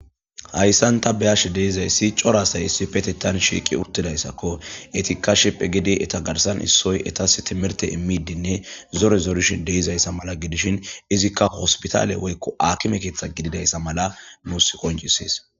hayssan ta beyashe deizayssi corasay issi petetan shiiqi urtidayssakko etikka shiphe gidi eta garsan issoy etas timirte immidinne zore zorishin deizayssa mala gidishin izikka hospitaale woykko akime keeththa gididayssa mala nuus qoncisees